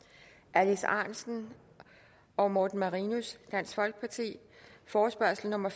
alex ahrendtsen og morten marinus forespørgsel nummer